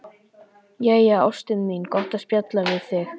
Jæja, ástin mín, gott að spjalla við þig.